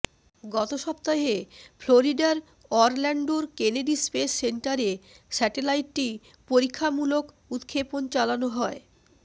গত সপ্তাহে ফ্লোরিডার অরল্যান্ডোর কেনেডি স্পেস সেন্টারে স্যাটেলাইটটি পরীক্ষামূলক উৎক্ষেপণ চালানো হয়